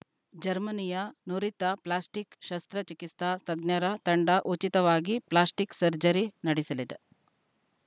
ಜರ್ಮನಿಯ ನುರಿತ ಪ್ಲಾಸ್ಟಿಕ್‌ ಶಸ್ತ್ರಚಿಕಿತ್ಸಾ ತಜ್ಞರ ತಂಡ ಉಚಿತವಾಗಿ ಪ್ಲಾಸ್ಟಿಕ್‌ ಸರ್ಜರಿ ನಡೆಸಲಿದೆ